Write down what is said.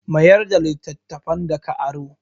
Mayar da littattafan da ka aro.